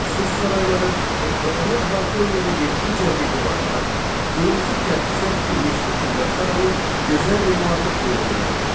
Su sarayları, Ekbatanı əhatə eləyən yeddi cərgə divarlar, qırmızı kərpicdən tikilmiş hökmdar sarayı gözəl memarlıq nümunələridir.